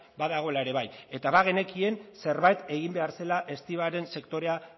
badagoela ere bai eta bagenekien zerbait egin behar zela estibaren sektorea